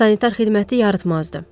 Sanitar xidməti yaratmazdı.